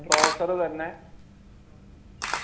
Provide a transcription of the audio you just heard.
processor തന്നെ